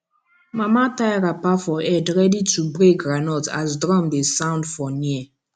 mama tie wrapper for head ready to break groundnut as drum dey sound for near